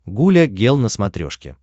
гуля гел на смотрешке